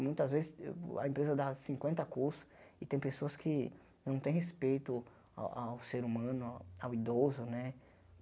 Muitas vezes a empresa dá cinquenta cursos e tem pessoas que não tem respeito ao ao ser humano, ao idoso, né?